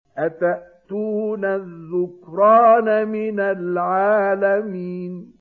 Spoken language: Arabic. أَتَأْتُونَ الذُّكْرَانَ مِنَ الْعَالَمِينَ